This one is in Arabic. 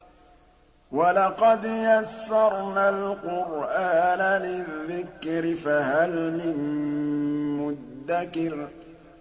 وَلَقَدْ يَسَّرْنَا الْقُرْآنَ لِلذِّكْرِ فَهَلْ مِن مُّدَّكِرٍ